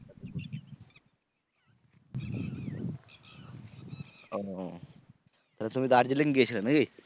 ও তাহলে তুমি দার্জিলিং গেয়েছিলে নাকি?